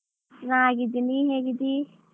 ಚನ್ನಾಗಿದ್ದೀನಿ ನೀನ್ ಹೇಗಿದ್ದೀ?